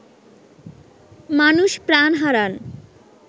মানুষ প্রাণ হারান